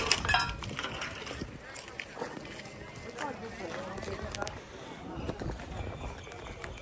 Düşünüldü ki, məncə, onlar bizə gəlir.